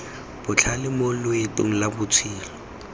botlhale mo loetong lwa botshelo